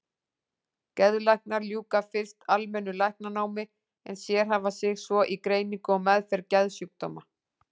Geðlæknar ljúka fyrst almennu læknanámi en sérhæfa sig svo í greiningu og meðferð geðsjúkdóma.